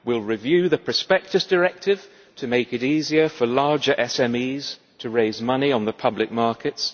we will review the Prospectus Directive to make it easier for larger SMEs to raise money on the public markets